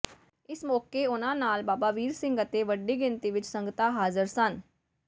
ਇਸ ਮੌਕੇ ਉਨ੍ਹਾਂ ਨਾਲ ਬਾਬਾ ਵੀਰ ਸਿੰਘ ਅਤੇ ਵੱਡੀ ਗਿਣਤੀ ਵਿਚ ਸੰਗਤਾਂ ਹਾਜ਼ਰ ਸਨ